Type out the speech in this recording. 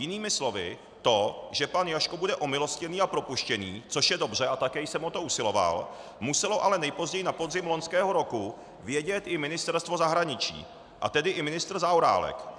Jinými slovy to, že pan Jaško bude omilostněný a propuštěný, což je dobře a také jsem o to usiloval, muselo ale nejpozději na podzim loňského roku vědět i Ministerstvo zahraničí, a tedy i ministr Zaorálek.